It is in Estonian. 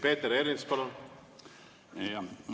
Peeter Ernits, palun!